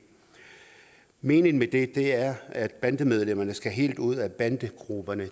meningen med det er at bandemedlemmerne skal helt ud af banderne